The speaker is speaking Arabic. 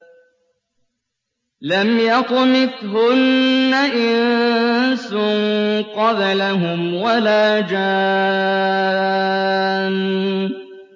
لَمْ يَطْمِثْهُنَّ إِنسٌ قَبْلَهُمْ وَلَا جَانٌّ